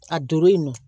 A don yen nɔ